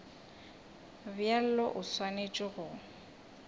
bjalo o swanetše go se